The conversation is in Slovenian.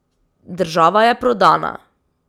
Država je prodana.